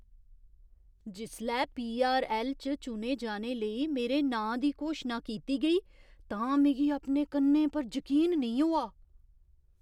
जिसलै पीआरऐल्ल च चुने जाने लेई मेरे नांऽ दी घोशना कीती गेई तां मिगी अपने कन्नें पर जकीन नेईं होआ!